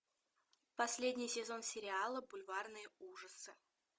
последний сезон сериала бульварные ужасы